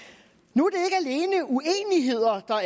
nu